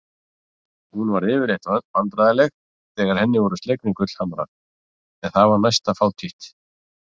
Hún varð yfirleitt vandræðaleg þegar henni voru slegnir gullhamrar en það var næsta fátítt.